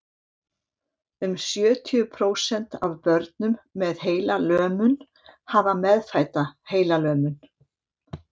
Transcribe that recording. um sjötíu prósent af börnum með heilalömun hafa meðfædda heilalömun